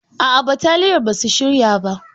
Aa, bataliyan basu shirya ba.